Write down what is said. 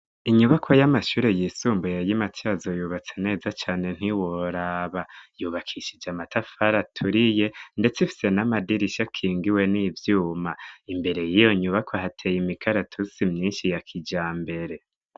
Inyubako y'amashuri y'isumbuye yi Matsyazo yubatse neza cane ntiworaba yubakishije amatafari aturiye ndetse ifise n'amadirisha akingiwe n'ivyuma imbere yiyo nyubako hateye imikaratusi myinshi ya kijambere.